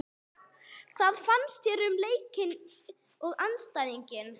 Hvað fannst þér um leikinn og andstæðinginn?